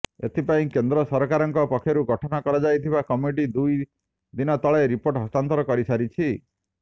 ଏଥିପାଇଁ କେନ୍ଦ୍ର ସରକାରଙ୍କ ପକ୍ଷରୁ ଗଠନ କରାଯାଇଥିବା କମିଟି ଦୁଇ ଦିନ ତଳେ ରିପୋର୍ଟ ହସ୍ତାନ୍ତର କରିସାରିଛି